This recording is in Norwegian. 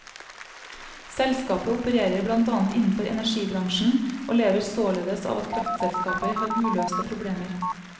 Selskapet opererer blant annet innenfor energibransjen, og lever således av at kraftselskaper har uløste problemer.